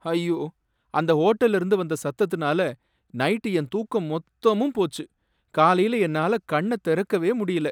ஐயோ! அந்த ஹோட்டல்ல இருந்த வந்த சத்தத்துனால நைட் என் தூக்கம் மொத்தமும் போச்சு, காலைல என்னால கண்ண தெறக்கவே முடியல